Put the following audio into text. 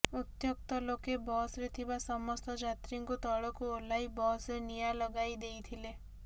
ଉତ୍ତ୍ୟକ୍ତ ଲୋକେ ବସ୍ରେ ଥିବା ସମସ୍ତ ଯାତ୍ରୀଙ୍କୁ ତଳକୁ ଓହ୍ଲାଇ ବସ୍ରେ ନିଆଁ ଲଗାଇ ଦେଇଥିଲେ